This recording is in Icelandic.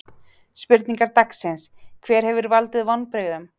Spurningar dagsins: Hver hefur valdið vonbrigðum?